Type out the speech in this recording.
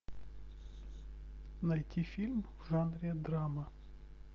найти фильм в жанре драма